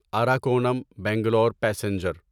Arakkonam Bangalore passenger